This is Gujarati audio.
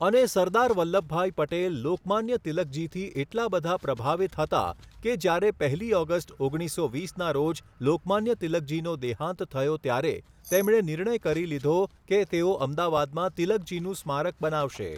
અને સરદાર વલ્લભભાઇ પટેલ લોકમાન્ય તિલકજીથી એટલા બધા પ્રભાવિત હતા કે જ્યારે પહેલી ઓગસ્ટ, ઓગણીસસો વીસના રોજ લોકમાન્ય તિલકજીનો દેહાંત થયો ત્યારે તેમણે નિર્ણય કરી લીધો કે તેઓ અમદાવાદમાં તિલકજીનું સ્મારક બનાવશે.